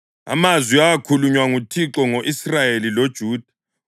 Amazwi akhulunywa nguThixo ngo-Israyeli loJuda: